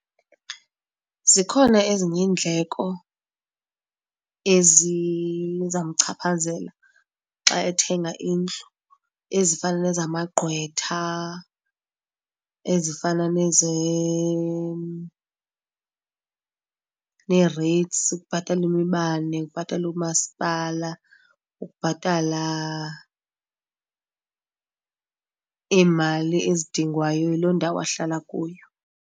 Zikhona ezinye iindleko ezizawumchaphazela xa ethenga indlu, ezifana nezamagqwetha ezifana neereyitsi ukubhatala imibane, ukubhatala umaspala, ukubhatala iimali ezidingwayo yiloo ndawo ahlala kuyo.